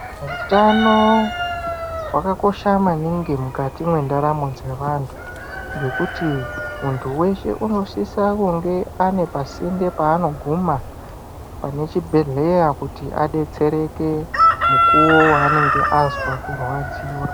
Hutano hwakakosha maningi mukati mendaramo dzevantu ngekuti muntu weshe unosisa kunge ane pasinde panoguma pane chibhedhlera kuti adetsereke mukuwo wanenge anzwa kurwadziwa.